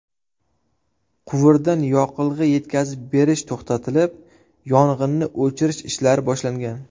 Quvurdan yoqilg‘i yetkazib berish to‘xtatilib, yong‘inni o‘chirish ishlari boshlangan.